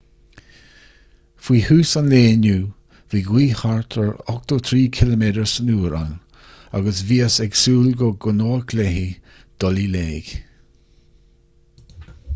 faoi thús an lae inniu bhí gaoth thart ar 83 km/h ann agus bhíothas ag súil go gcoinneodh léi dul i léig